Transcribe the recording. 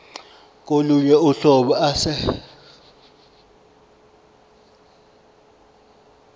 kolunye uhlobo ase